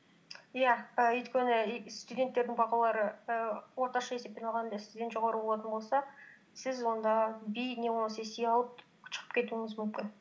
иә і өйткені студенттердің бағалары і орташа есеппен алғанда сізден жоғары болатын болса сіз онда би не болмаса си алып шығып кетуіңіз мүмкін